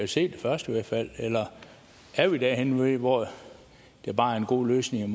se det først eller er vi derhenne hvor der bare er en god løsning